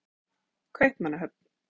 Kaupmannahöfn